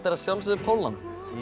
að sjálfsögðu Pólland